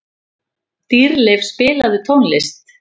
Dýrleif, spilaðu tónlist.